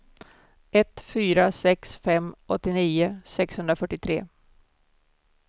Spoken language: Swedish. ett fyra sex fem åttionio sexhundrafyrtiotre